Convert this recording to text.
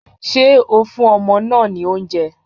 Ṣé o fún ọmọ náà ní oúnjẹ?